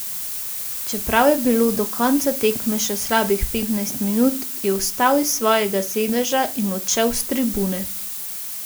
Čeprav je bilo do konca tekme še slabih petnajst minut, je vstal iz svojega sedeža in odšel s tribune.